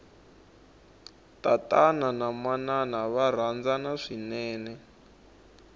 tatana na manana va rhandzana swinene